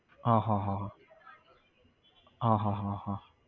હા હા હા હા હા હા હા હા